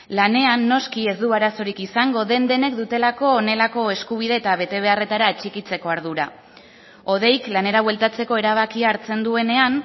lanean noski ez du arazorik izango den denek dutelako honelako eskubide eta betebeharretara atxikitzeko ardura hodeik lanera bueltatzeko erabakia hartzen duenean